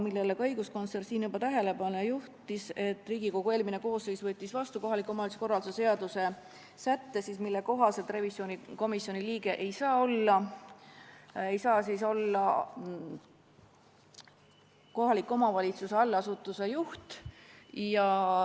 Sellele vastas Külli Taro , et Riigikogu eelmine koosseis võttis vastu kohaliku omavalitsuse korralduse seaduse sätte, mille kohaselt revisjonikomisjoni liige ei saa olla kohaliku omavalitsuse allasutuse juht.